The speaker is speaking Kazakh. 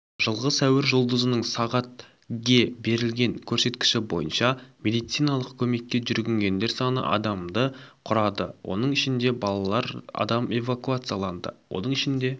жылғы сәуір жұлдызының сағат ге берілген көрсеткіші бойынша медициналық көмекке жүгінгендер саны адамды құрады оның ішінде балалар адам эвакуацияланды оның ішінде